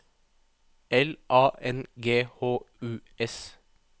L A N G H U S